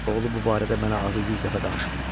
Oğlu bu barədə mənə azı 100 dəfə danışıb.